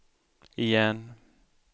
igen